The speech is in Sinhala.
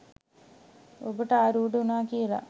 ඔබට ආරූඩ වුණා කියලා.